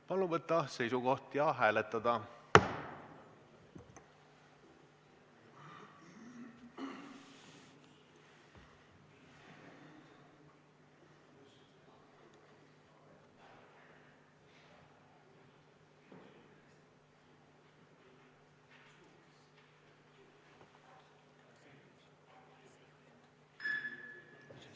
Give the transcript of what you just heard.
Palun võtta seisukoht ja hääletada!